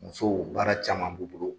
Musow baara caman b'u bolo.